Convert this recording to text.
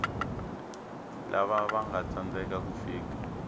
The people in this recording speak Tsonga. lava vanga tsandzeka ku fika